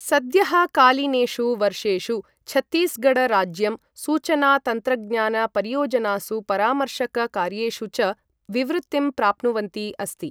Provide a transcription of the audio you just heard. सद्यःकालीनेषु वर्षेषु छत्तीसगढ राज्यं सूचना तन्त्रज्ञान परियोजनासु परामर्शक कार्येषु च विवृतिं प्राप्नुवन्ति अस्ति।